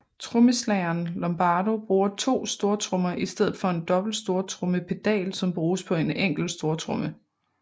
Trommeslageren Lombardo bruger to stortrommer i stedet for en dobbelt stortrommepedal som bruges på en enkelt stortromme